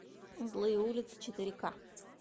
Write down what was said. злые улицы четыре ка